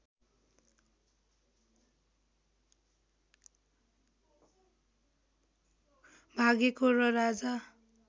भागेको र राजा